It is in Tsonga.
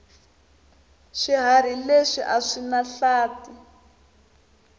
swihharhi leswi aswinahlathi